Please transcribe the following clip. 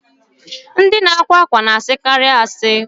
Ndị na-akwa ákwà na-asịkarị asị